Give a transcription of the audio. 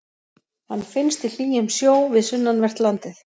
Hann finnst í hlýjum sjó við sunnanvert landið.